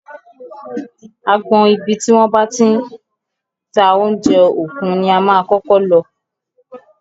Agbọn ibi tí wọ́n ti ń ta oúnjẹ òkun ni a máa kọ́kọ́ lọ.